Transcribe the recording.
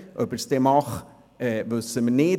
Ob er es dann wirklich tun wird, wissen wir nicht.